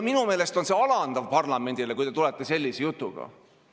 Minu meelest on see parlamendile alandav, kui te tulete sellise jutuga.